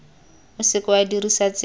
o seke wa dirisa tsela